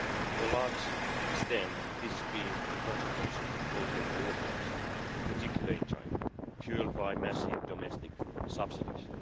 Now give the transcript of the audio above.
To a large extent, this has been the consequence of global overcapacity, in particular in China, fuelled by massive domestic subsidies.